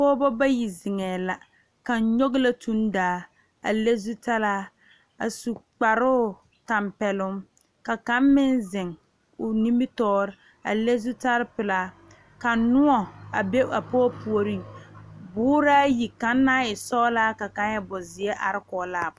Pɔgeba bayi zeŋe la kaŋa nyoŋ la tuŋdaa a su kparo tanpɛloŋ ka kaŋ meŋ zeŋ o nimitɔɔre a le zutal pelaa ka noɔ a be a pɔge puori boɔra yi kaŋ naŋ e boɔsɔglaa ka kaŋ e bonziɛ are kɔŋ la a pɔge.